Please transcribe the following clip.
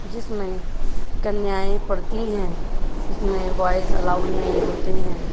जिसमे कन्याएं पड़ती है। इसमें बॉय्ज़ अलाउड नहीं होते हैं।